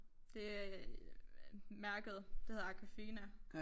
Det øh mærket det hedder Aquafina